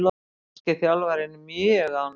Norski þjálfarinn mjög ánægður